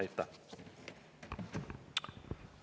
Aitäh!